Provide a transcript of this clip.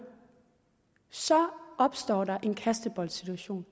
så opstår der en kasteboldsituation